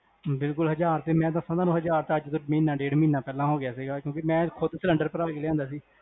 ਬਿਲਕੁਲ ਹਜਾਰ ਤੇ ਮੈਂ ਦਾਸਾ ਤੁਹਾਨੂੰ ਹਜਾਰ ਮਹੀਨਾ ਡੇਢ ਮਹੀਨਾ ਪਹਿਲੇ ਹੋ ਗਯਾ ਸੀਗਾ, ਕਿਉਂਕਿ ਮੈਂ ਖੁਦ ਸਿਲੰਡਰ ਭਰਵਾ ਕੇ ਸੀ